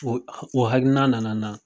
O o hakiliina nana n na